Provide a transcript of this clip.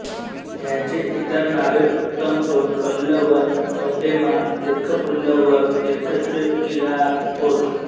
ह्यांची इतर नांवे उत्तमचोळ पल्लवन् तोण्डैमान् देय्वप्पुलवर् देय्वच्चेक्किऴार् होत